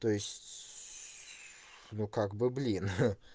то есть сс ну как бы блин